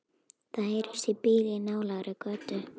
Það heyrist í bíl í nálægri götu.